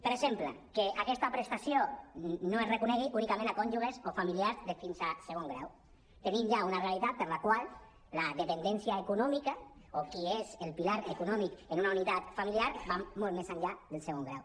per exemple que aquesta prestació no es reconegui únicament a cònjuges o fa·miliars de fins a segon grau tenint ja una realitat per la qual la dependència econò·mica o qui és el pilar econòmic en una unitat familiar va molt més enllà del segon grau